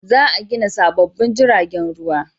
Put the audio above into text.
Za a gina sabobbin jiragen ruwa